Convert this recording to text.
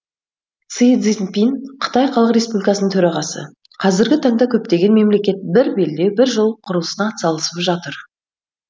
си цзиньпин қытай халық республикасының төрағасы қазіргі таңда көптеген мемлекет бір белдеу бір жол құрылысына атсалысып жатыр